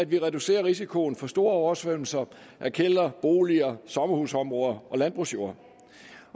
vi reducerer risikoen for store oversvømmelser af kældre boliger sommerhusområder og landbrugsjorder